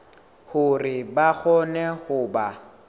hore ba kgone ho ba